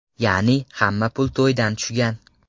Ya’ni, hamma pul to‘ydan tushgan.